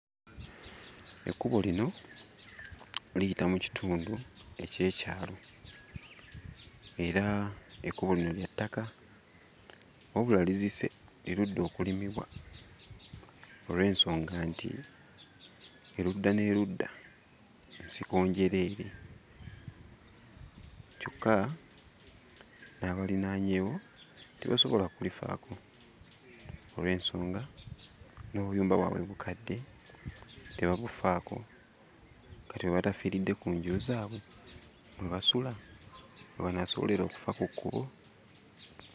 Ekkubo lino liyita mu kitundu eky'ekyalo. Era ekkubo lino lya ttaka wabula lizise, lirudde okulimibwa olw'ensonga nti erudda n'erudda nsiko njereere. Kyokka n'abalinaanyeewo tebasobola kulifaako olw'ensonga, n'obuyumba bwabwe bukadde, tebabufaako. Kati we batafiiridde ku nju zaabwe mwe basula, we banaasobolera okufa ku kkubo?